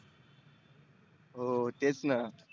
हो तेच ना.